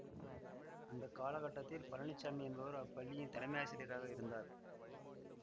அந்த கால கட்டத்தில் பழனிச்சாமி என்பவர் அப்பள்ளியின் தலைமயாசிரியராக இருந்தார்